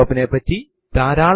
അടുത്തതായി എന്താണ് ഒരു ഡയറക്ടറി